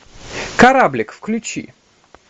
кораблик включи